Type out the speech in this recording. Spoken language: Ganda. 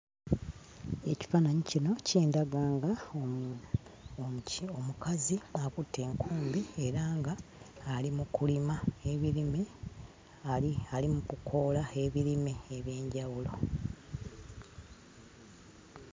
Ekifaananyi kino kindaga nga omu omuki omukazi akutte enkumbi era nga ali mu kulima ebirime, ali ali mu kukoola ebirime eby'enjawulo.